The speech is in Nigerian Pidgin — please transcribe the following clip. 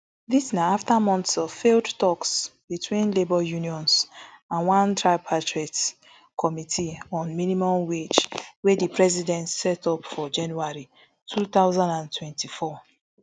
dis na afta months of failed toks between labour unions and one tripartite committee on minimum wage wey di president set up for january two thousand and twenty-four